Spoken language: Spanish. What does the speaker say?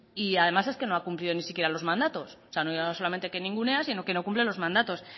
y además es que no ha cumplido ni siquiera los mandatos no solamente que ninguneas sino que no cumples los mandatos